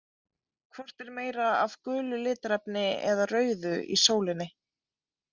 Hvort er meira af gulu litarefni eða rauðu í sólinni?